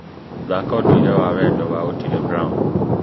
thaaka ũndũire wa wendo wa otile brown